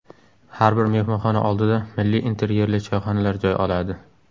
Har bir mehmonxona oldida milliy interyerli choyxonalar joy oladi.